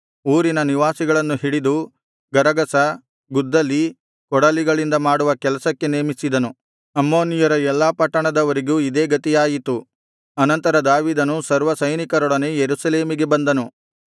ಊರಿನ ನಿವಾಸಿಗಳನ್ನು ಹಿಡಿದು ಗರಗಸ ಗುದ್ದಲಿ ಕೊಡಲಿಗಳಿಂದ ಮಾಡುವ ಕೆಲಸಕ್ಕೆ ನೇಮಿಸಿದನು ಅಮ್ಮೋನಿಯರ ಎಲ್ಲಾ ಪಟ್ಟಣದವರಿಗೂ ಇದೇ ಗತಿಯಾಯಿತು ಅನಂತರ ದಾವೀದನು ಸರ್ವಸೈನಿಕರೊಡನೆ ಯೆರೂಸಲೇಮಿಗೆ ಬಂದನು